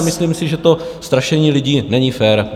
A myslím si, že to strašení lidí není fér.